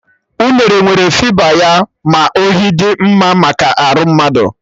Unere nwere fịba, ya mere ohi dị mma maka arụ mmadụ